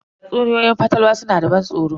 Tatsuniyoyin fatalwa suna da ban tsoro.